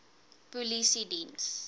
polisiediens